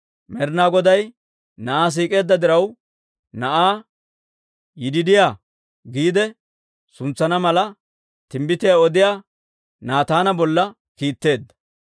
Med'inaa Goday na'aa siik'eedda diraw, na'aa «Yidiidiyaa» giide suntsana mala, timbbitiyaa odiyaa Naataana bolla kiitteedda.